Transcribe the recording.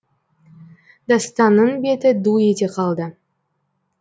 дастанның беті ду ете қалды